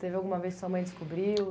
Teve alguma vez que sua mãe descobriu?